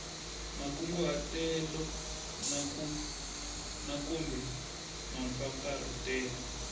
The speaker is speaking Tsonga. makunguhatelo na kumbe mampfampfarhutelo